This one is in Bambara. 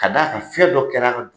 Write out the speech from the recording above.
Ka d' a kan fɛn dɔ kɛra